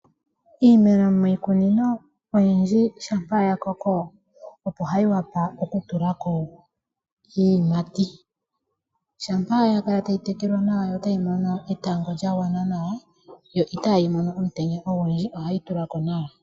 Iimeno miikunino oyindji shampa ya koko, opo hayi vulu okutula ko iiyimati. Shampa ya kala tayi tekelwa nawa yo tayi mono etango lya gwana nawa yo itayi mono omutenya ogundji ohayi tula ko nawa.